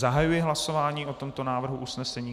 Zahajuji hlasování o tomto návrhu usnesení.